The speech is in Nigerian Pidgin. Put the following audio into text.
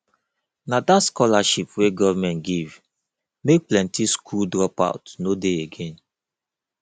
na dat scholarship wey government give make plenty skool dropout no dey again